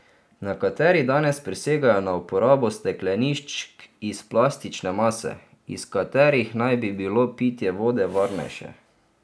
Nekateri danes prisegajo na uporabo stekleničk iz plastične mase, iz katerih naj bi bilo pitje vode varnejše.